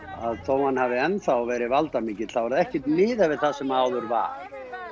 þó að hann hafi ennþá verið valdamikill er ekkert miðað við það sem áður var